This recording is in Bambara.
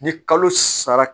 Ni kalo sara